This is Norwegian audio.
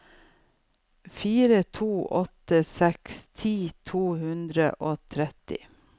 fire to åtte seks ti to hundre og tretti